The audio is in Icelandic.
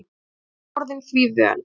Hún var orðin því vön.